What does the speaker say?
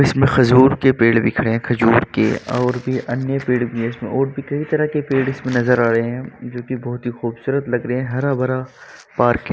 इसमें खजूर के पेड़ दिख रहे हैं खजूर के और भी अन्य पेड़ भी हैं इसमें और भी कई तरह के पेड़ इसमें नजर आ रहे हैं जो कि बोहोत ही खूबसूरत लग रहे हैं हरा-भरा पार्क है।